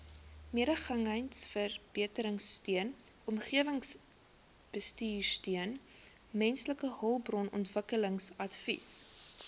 mededingendheidsverbeteringsteun omgewingsbestuursteun mensehulpbronontwikkelingsadvies